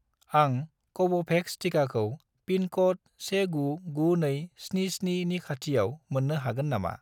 आं कव'भेक्स टिकाखौ पिन क'ड 199277 नि खाथिआव मोन्नो हागोन नामा